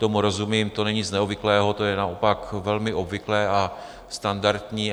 Tomu rozumím, to není nic neobvyklého, to je naopak velmi obvyklé a standardní.